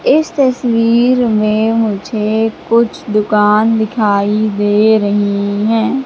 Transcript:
इस तस्वीर में मुझे कुछ दुकान दिखाई दे रहीं हैं।